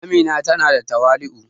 Amina ta na da tawali'u